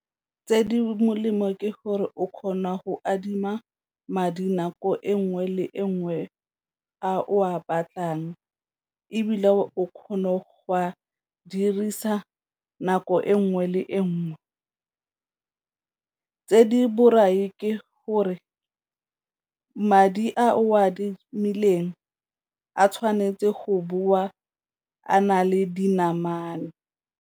Tse di molemo ke gore o kgona go adima madi nako e nngwe le e nngwe a o a batlang ebile o kgona go a dirisa nako e nngwe le engwe, tse di borai ke gore madi a o a adimileng a tshwanetse go boa a na le dinamane.